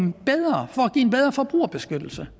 er en bedre forbrugerbeskyttelse